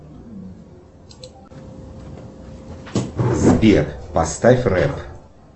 сбер поставь рэп